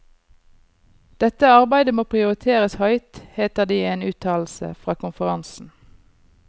Dette arbeidet må prioriteres høyt, heter det i en uttalelse fra konferansen.